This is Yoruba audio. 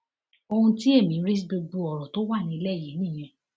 ohun tí èmi rí sí gbogbo ọrọ tó wà nílẹ yìí nìyẹn